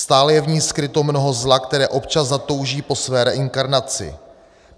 Stále je v ní skryto mnoho zla, které občas zatouží po své reinkarnaci.